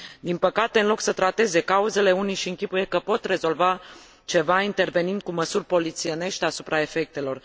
Din păcate, în loc să trateze cauzele, unii își închipuie că pot rezolva ceva intervenind cu măsuri polițienești asupra efectelor.